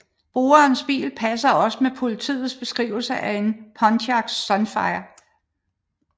Brugerens bil passer også med politiets beskrivelse af en Pontiac Sunfire